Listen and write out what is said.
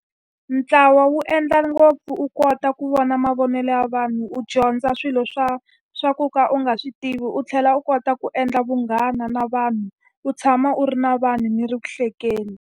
Ntlawa wu endla ngopfu u kota ku vona mavonelo ya vanhu, u dyondza swilo swa swa ku ka u nga swi tivi u tlhela u kota ku endla vunghana na vanhu. U tshama u ri na vanhu mi ri ku hlekeni.